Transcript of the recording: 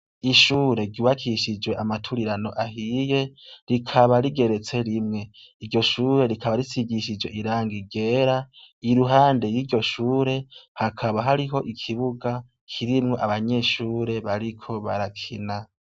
Ishure ryubakishijwe ama turirano ahiye rikaba rigeretse rimwe, iryo Shure rikaba risigishije irangi ryera, iruhande yiryo shure hakaba har'ikibuga kirimwo abanyeshure bariko barakina.